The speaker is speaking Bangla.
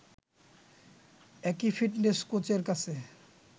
একই ফিটনেস কোচের কাছে